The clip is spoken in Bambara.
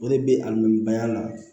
O de bɛ alimɛya la